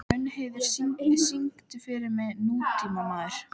Mundheiður, syngdu fyrir mig „Nútímamaður“.